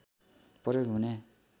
प्रयोग हुने